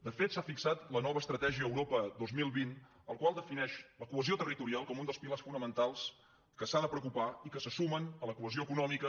de fet s’ha fixat la nova estratègia europa dos mil vint la qual defineix la cohesió territorial com un dels pilars fonamentals que s’ha de preocupar i que se sumen a la cohesió econòmica